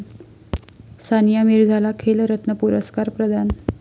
सानिया मिर्झाला 'खेलरत्न' पुरस्कार प्रदान